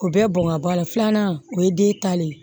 O bɛɛ bɔn ka bɔ a la filanan o ye den ta de ye